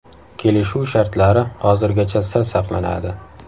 Kelishuv shartlari hozirgacha sir saqlanadi.